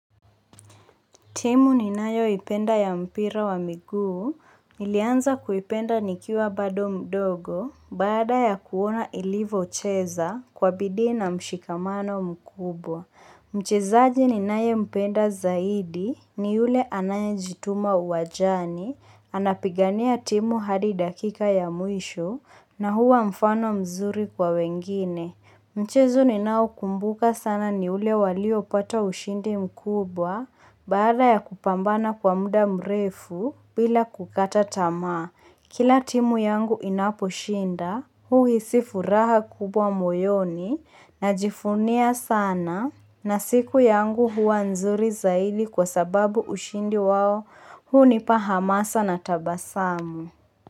Timu ninayo ipenda ya mpira wa miguu, nilianza kuipenda nikiwa bado mdogo, baada ya kuona ilivo cheza, kwa bidii na mshikamano mkubwa. Mchezaji ni naye mpenda zaidi, ni yule anaye jituma uwanjani, anapigania timu hadi dakika ya mwisho, na huwa mfano mzuri kwa wengine. Mchezo ninao kumbuka sana ni ule waliopata ushindi mkubwa Baada ya kupambana kwa muda mrefu bila kukata tamaa Kila timu yangu inapo shinda huhisi furaha kubwa moyoni Najivunia sana na siku yangu huwa nzuri zaidi kwa sababu ushindi wao hunipa hamasa na tabasamu.